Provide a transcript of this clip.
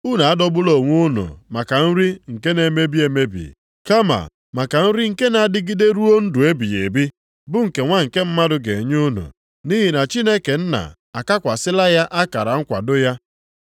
Unu adọgbula onwe unu maka nri nke na-emebi emebi, kama maka nri nke na-adịgide ruo ndụ ebighị ebi, bụ nke Nwa nke Mmadụ ga-enye unu. Nʼihi na Chineke Nna akakwasịla ya akara nkwado ya.”